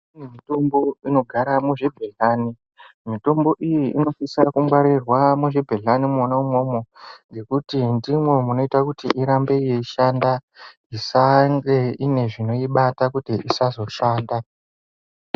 Mitombo inogara muzvibhehlani mitombo iyi inosiso kungwarirwa mubhehlani mwona umwomwo ngekuti ndimwo munoite kuti irambe yeishanda isange ine zvinoibata kuti isazoshanda.